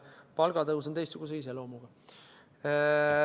Palgatõus on teistsuguse iseloomuga.